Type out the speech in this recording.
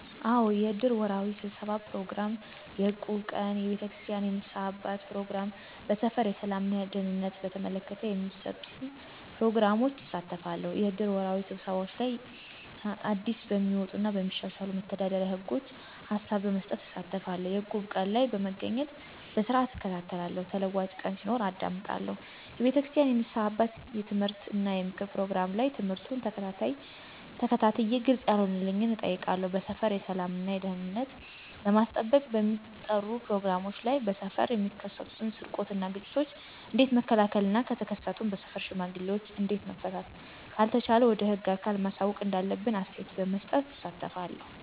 አዎ! የእድር ወርሃዊ ስብሠባ ፕሮግራም፣ የእቁብ ቀን፣ የቤተክርስቲያን የንስሐ አባት ፕሮግራም፣ በሠፈር የሠላም እና ደህንነትን በተመለከተ በሚሠጡን ፕሮግራሞች እሳተፋለሁ። -የእድር ወርሃዊ ስብሰባዎች ላይ አዲስበሚወጡ እና በሚሻሻሉ መተዳደሪያ ህጎች ሀላብ በመስጠት እሳተፋለሁ። - የእቁብ ቀን ላይ በመገኘት በስርዓትእከታተላለሁ ተለዋጭ ቀን ሲኖር አዳምጣለሁ። የቤተክርስቲያን የንስሐ አባት የምትምህርት እና የምክር ፕሮግራም ላይ ትምህርቱን ተከታትየ ግልፅ ያለሆነልኝን እጠይቃለሁ። -በሠፈር የሠላም እና ደህንነትን ለማስጠበቅ በሚጠሩ ፕሮግራሞች ላይ በሠፈር የሚከሠትን ስርቆት እና ግጭቶችን ኦንዴት መከላከል እና ከተከሠቱም በሠፈር ሽማግሌ እዴት መፍታት ካልተቻለ ወደ ህግ አካል ማሳወቅ እንዳለብን አስተያየት በመስጠት እሳተፋለሁ።